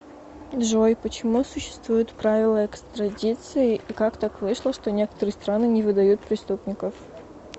джой почему существуют правила экстрадиции и как так вышло что некоторые страны не выдают преступников